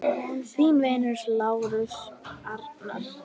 Þinn vinur, Lárus Arnar.